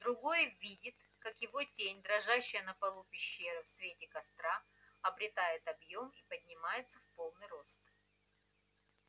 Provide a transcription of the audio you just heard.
другой видит как его тень дрожащая на полу пещеры в свете костра обретает объём и поднимается в полный рост